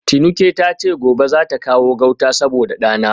Tinuke tace gobe zata kawo gauta saboda dana